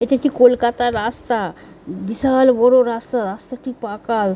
এটি কি কলকাতার রাস্তা। বিশাল বড়ো রাস্তা। রাস্তাটি পাকা।